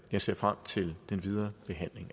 jeg ser frem til den videre behandling